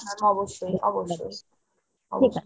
অবশ্যই অবশ্যই । অবশ্যই